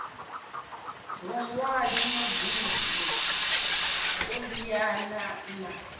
vhuṅwali mugudi u liana na